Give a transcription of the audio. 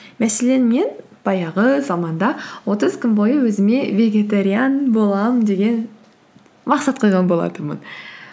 мәселен мен баяғы заманда отыз күн бойы өзіме вегетариан боламын деген мақсат қойған болатынмын